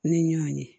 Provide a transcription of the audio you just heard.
Ni ɲɔn ye